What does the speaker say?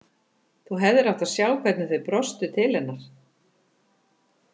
Þú hefðir átt að sjá hvernig þau brostu til hennar.